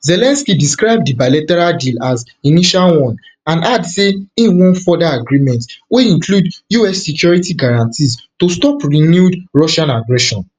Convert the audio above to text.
zelensky describe di bilateral deal as initial one and add say im want further agreements wey include us security guarantees to stop renewed russian aggression